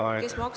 Teie aeg!